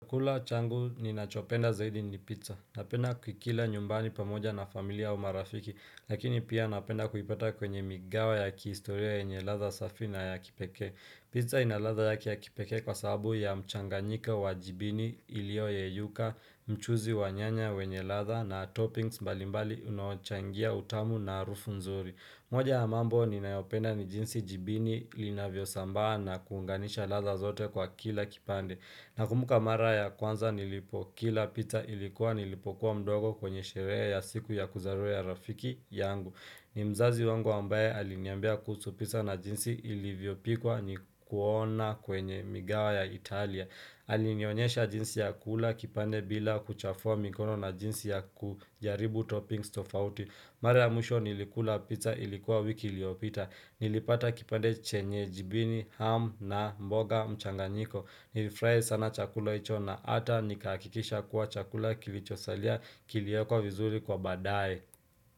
Chakula changu ninachopenda zaidi ni pizza. Napenda kukila nyumbani pamoja na familia au marafiki, lakini pia napenda kukipata kwenye migawa ya kiistoria yenye ladha safi na ya kipekee. Pizza ina ladha yake ya kipeke kwa sababu ya mchanganyiko wa jibini ilioyeyuka, mchuuzi wa nyanya wenye ladha na toppings mbali mbali unaochangia utamu na harufu nzuri. Moja ya mambo ninayopenda ni jinsi jibini linavyo sambaa na kuunganisha laza zote kwa kila kipande. Nakumbuka mara ya kwanza nilipokila pizza ilikuwa nilipokuwa mdogo kwenye sherehe ya siku ya kuzaliwa ya rafiki yangu. Ni mzazi wangu ambaye aliniambia kuhusu pizza na jinsi ilivyopikwa nikuona kwenye migawa ya Italia. Alionyesha jinsi ya kula kipande bila kuchafua mikono na jinsi ya kujaribu toppings tofauti. Mara ya mwisho nilikula pizza ilikuwa wiki iliyopita. Nilipata kipande chenye jibini, ham na mboga mchanganyiko. Nilifurahia sana chakula hicho na ata nikahakikisha kuwa chakula kilichosalia kiliekwa vizuri kwa baadaye.